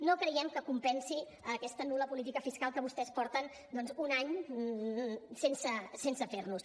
no creiem que compen si aquesta nul·la política fiscal que vostès porten doncs un any sense fer nos